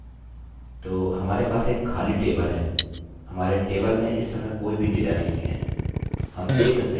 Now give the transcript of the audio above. हाँ ठीक है तो हमारे पास एक खाली टेबलतालिका है हमारे टेबलतालिकामें इस समय कोई भी डेटा नहीं है